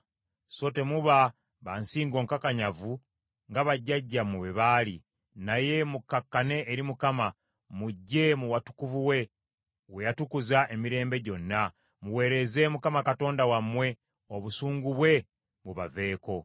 So temuba ba nsingo nkakanyavu nga bajjajjammwe bwe baali, naye mukkakkane eri Mukama , mujje mu watukuvu we, we yatukuza emirembe gyonna, muweereze Mukama Katonda wammwe, obusungu bwe bubaveeko.